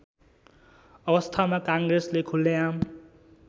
अवस्थामा काङ्ग्रेसले खुल्लेआम